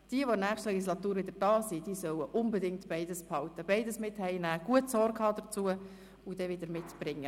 Wer in der nächsten Legislatur wieder hier ist, soll beides behalten, beides mit nach Hause nehmen, gut dazu Sorge tragen und dann wieder mitbringen.